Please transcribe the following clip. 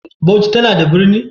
Bauchi tana da birni?